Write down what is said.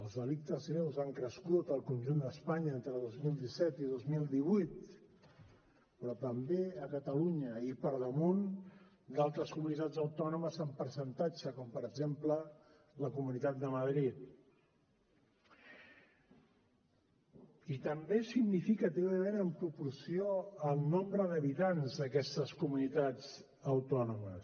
els delictes greus han crescut al conjunt d’espanya entre dos mil disset i dos mil divuit però també a catalunya i per damunt d’altres comunitats autònomes en percentatge com per exemple la comunitat de madrid i també significativament en proporció al nombre d’habitants d’aquestes comunitats autònomes